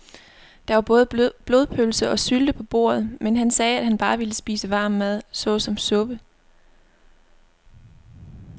Der var både blodpølse og sylte på bordet, men han sagde, at han bare ville spise varm mad såsom suppe.